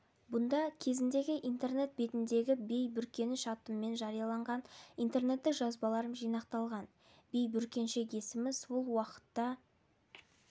бұнда кезіндегі интернет бетіндегі бей бүркеніш атыммен жарияланған интернеттік жазбаларым жинақталған бей бүркеншек есімі сол уақытта